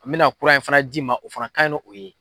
An bɛna kura in fana di ma o fana kan ɲin n'o ye.